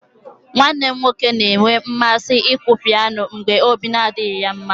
Nwanne m nwoke na-enwe mmasị ịkụ pianọ mgbe ọ bụla ọbi adịghị ya mma.